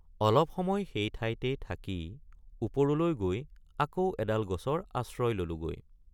অলপ সময় সেই ঠাইতেই থাকি ওপৰলৈ গৈ আকৌ এডাল গছৰ আশ্ৰয় ললোগৈ।